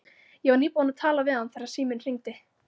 Ég var nýbúin að tala við hann þegar síminn hringdi.